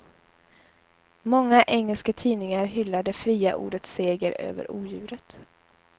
Många engelska tidningar hyllar det fria ordets seger över odjuret.